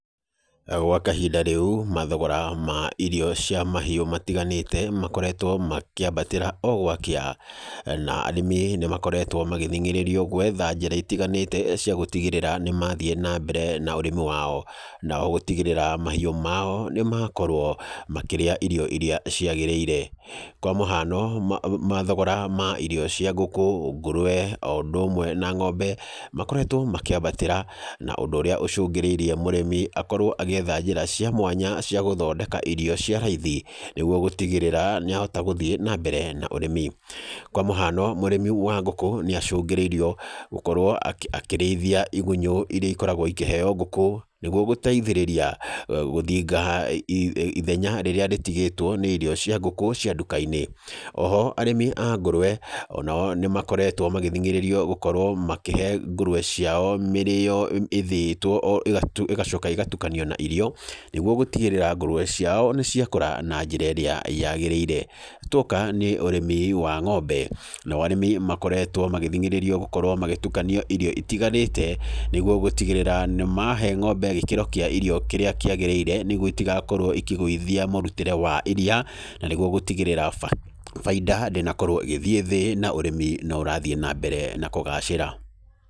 Gwa kahinda rĩu, mathogora ma irio cia mahiũ matiganĩte, makoretwo makĩambatĩra o gwakĩa. Na arĩmi nĩ makoretwo magĩthing'ĩrĩrio gwetha njĩra itiganĩte cia gũtigĩrĩra nĩ mathiĩ na mbere na ũrĩmi wao. Na o gũtigĩrĩra mahiũ mao nĩ makorwo makĩrĩa irio irĩa ciagĩrĩire. Kwa mũhano, mathogora ma irio cia ngũkũ, ngũrũwe, o ũndũ ũmwe na ng'ombe, makoretwo makĩambatĩra na ũndũ ũrĩa ũcũngĩrĩirie mũrĩmi akorwo agĩetha njĩra cia mwanya cia gũthondeka irio cia raithi nĩguo gũtigĩrĩra nĩ ahota gũthiĩ na mbere na ũrĩmi. Kwa mũhano mũrĩmi wa ngũkũ, nĩ acũngĩrĩirio gũkorwo akĩrĩithia igunyũ irĩa ikoragwo ikĩheo ngũkũ, nĩguo gũteithĩrĩria gũthinga ithenya rĩrĩa rĩtigĩtwo nĩ irio cia ngũkũ cia nduka-inĩ. Oho arĩmi a ngũrũwe, ona o nĩ makoretwo magĩthing'ĩrĩrio gũkorwo makĩhe ngũrũwe ciao mĩrĩĩo ĩthĩĩtwo ĩgacaka ĩgatukanio na irio, nĩguo gũtigĩrĩra ngũrũwe ciao nĩ ciakũra na njĩra ĩrĩa yagíĩĩire. Tuoka nĩ ũrĩmi wa ng'ombe, nao arĩmi makoretwo magĩthingĩrĩrio gũkorwo magĩtukania irio itiganĩte, nĩguo gũtigĩrĩra nĩ mahe ng'ombe gĩkĩro kĩa irio kĩrĩa kĩagĩrĩire, nĩguo itigakorwo ikĩgũithia mũrutĩre wa iriia, na nĩguo gũtigĩrĩra baida ndĩnakorwo ĩgĩthiĩ thĩ, na ũrĩmi no ũrathiĩ na mbere na kũgacĩĩra.